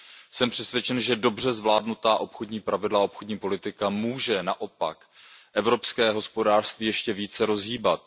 Jsem přesvědčen, že dobře zvládnutá obchodní pravidla a obchodní politika můžou naopak evropské hospodářství ještě více rozhýbat.